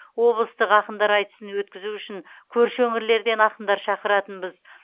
облыстық ақындар айтысын өткізу үшін көрші өңірлерден ақындар шақыратынбыз